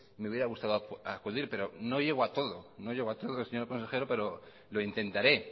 me hubiera gustado acudir pero no llego a todo no llego a todo señor consejero pero lo intentaré